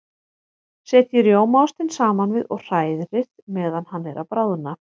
Setjið rjómaostinn saman við og hrærið meðan hann er að bráðna.